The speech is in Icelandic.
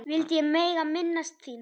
vildi ég mega minnast þín.